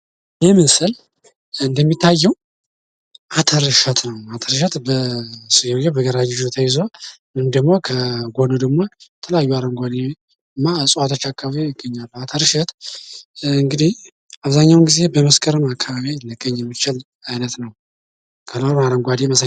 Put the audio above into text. ይህ ምስል እንደሚታየው አተር እሸት ነው። አተር እሸት በግራ እጅ ተይዞ ወይም ደግሞ ከጎን ደግሞ የተለያዩ አረንጓዴ እና እጽዋቶች አካባቢ ይገኛል። አተር እሸት እንግዲህ አብዛኛውን ጊዜ በመስከረም አካባቢ ሊገኝ የሚችል አይነት ነው። ከለሩ አረንጓዴ መሳይ ነው።